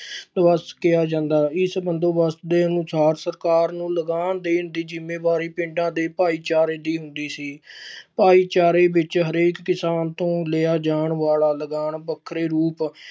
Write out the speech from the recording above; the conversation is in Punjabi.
ਕਿਹਾ ਜਾਂਦਾ, ਇਸ ਬੰਦੋਬਸਤ ਦੇ ਅਨੁਸਾਰ ਸਰਕਾਰ ਨੂੰ ਲਗਾਨ ਦੇਣ ਦੀ ਜ਼ਿੰਮੇਵਾਰੀ ਪਿੰਡਾਂ ਦੇ ਭਾਈਚਾਰੇ ਦੀ ਹੁੰਦੀ ਸੀ ਭਾਈਚਾਰੇੇ ਵਿੱਚ ਹਰੇਕ ਕਿਸਾਨ ਤੋਂ ਲਿਆ ਜਾਣ ਵਾਲਾ ਲਗਾਨ ਵੱਖਰੇ ਰੂਪ